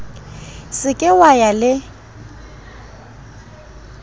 se ke wa ya le